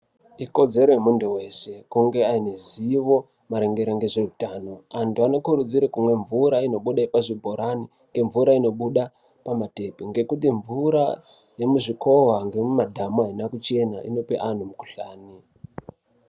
Ikodzero yemuntu weshe kunge anezivo maringe ngezveutano antu anokurudzirwa kumwa mvura inobude pazvibhorani kana mvura inobuda pamatepi ngekuti mvura yemuzvikova nemumadhamu aina kuchena inope antu mukuhlani.